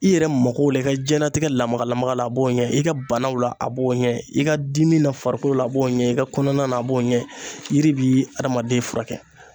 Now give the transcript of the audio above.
I yɛrɛ makow la, i ka diɲɛnatigɛ lamaga lamaga la, a b'o ɲɛ, i ka banaw la ,a b'o ɲɛ ,i ka dimi na farikolo la, a b'o ɲɛ i ka kɔnɔna na, a b'o ɲɛ, yiri bi hadamaden furakɛ!